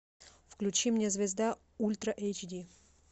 включи мне звезда ультра эйч ди